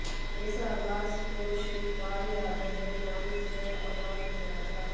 इस आवास को शिवपाल यादव के नाम से अलॉट किया था